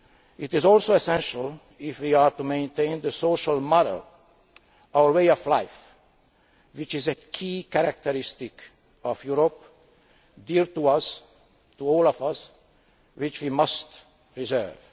It is also essential if we are to maintain the social model, our way of life, which is a key characteristic of Europe, dear to us all, and which we must preserve.